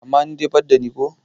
amma ni ban da ni ko?